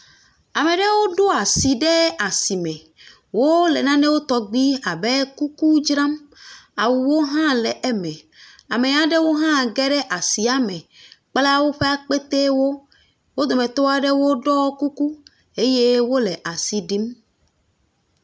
Ame ɖewo ɖo asi ɖe asme, wole nane tɔgbui abe kuku dzram, awuwo hã le eme, ame ɖewo hã ge ɖe asia me, kpla woƒe akpete wo, wo dometɔ aɖewo ɖɔ kuku eye wole asi ɖim.